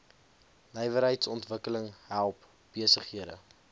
nywerheidsontwikkeling help besighede